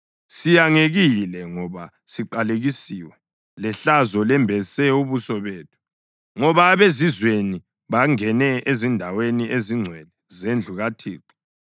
“Siyangekile, ngoba siqalekisiwe, lehlazo lembese ubuso bethu, ngoba abezizweni bangene ezindaweni ezingcwele zendlu kaThixo.”